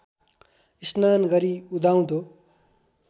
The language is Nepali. स्नान गरी उदाउँदो